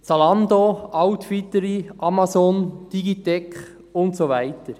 Zalando, Outfittery, Amazon, Digitec und so weiter: